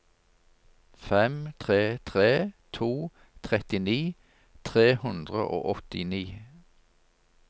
fem tre tre to trettini tre hundre og åttini